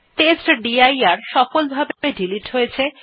টেস্টডির directory সফলভাবে delete হয়ে গেছে